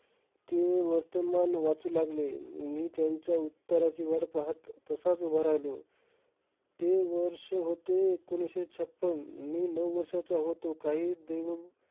ते वर्तमान वाचू लागले. अं मी त्यांच्या उत्तराची वाट पाहत तसाच उभा राहिलो. ते वर्ष होते, एकोणीशे छप्पन. मी नऊ वर्षाचा होतो. काही देवब